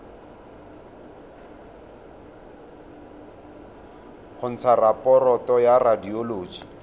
go ntsha raporoto ya radioloji